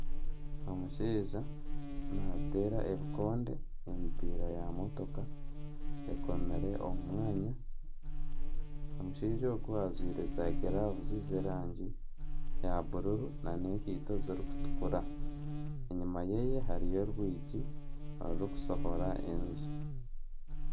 Omushaija nateera ebikonde emipiira ya motooka ekoomire omu mwanya omushaija ogu ajwaire za giravuzi z'erangi ya bururu na n'ekaito zirikutukura enyuma yeeye hariyo orwigi orurikushohora enju.